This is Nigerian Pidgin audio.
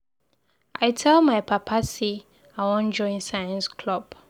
I tell my papa say I wan join science club.